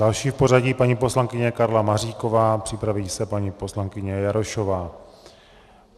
Další v pořadí paní poslankyně Karla Maříková, připraví se paní poslankyně Jarošová.